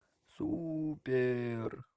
супер